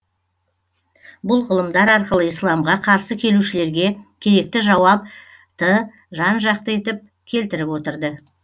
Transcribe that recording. бұл ғылымдар арқылы исламға қарсы келушілерге керекті жауапты жан жақты етіп келтіріп отырды